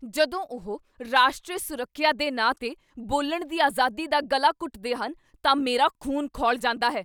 ਜਦੋਂ ਉਹ ਰਾਸ਼ਟਰੀ ਸੁਰੱਖਿਆ ਦੇ ਨਾਂ 'ਤੇ ਬੋਲਣ ਦੀ ਆਜ਼ਾਦੀ ਦਾ ਗਲਾ ਘੁੱਟਦੇ ਹਨ ਤਾਂ ਮੇਰਾ ਖ਼ੂਨ ਖੌਲ ਜਾਂਦਾ ਹੈ।